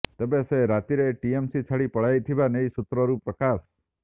ତେବେ ସେ ରାତିରେ ଟିଏମସି ଛାଡି ପଳାଇ ଥିବା ନେଇ ସୁତ୍ରରୁ ପ୍ରକାଶ